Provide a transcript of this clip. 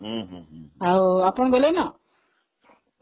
ହଁ ଆଉ ଆପଣ ଗଲେ ନା ?